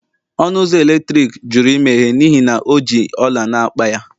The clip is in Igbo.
ọnụ ụzọ eletrik jụrụ imeghe n'ihi na o ji ọla n'akpa ya